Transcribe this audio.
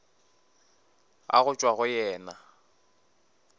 a go tšwa go yena